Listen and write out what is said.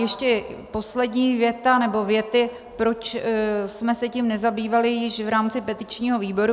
Ještě poslední věta, nebo věty, proč jsme se tím nezabývali již v rámci petičního výboru.